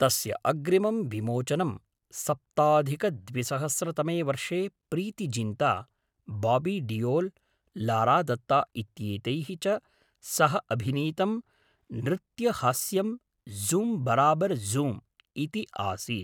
तस्य अग्रिमं विमोचनं सप्ताधिकद्विसहस्रतमे वर्षे प्रीति जिन्ता, बाबी डीयोल्, लारा दत्ता इत्येतैः च सह अभिनीतं नृत्यहास्यं झूम् बराबर झूम् इति आसीत्।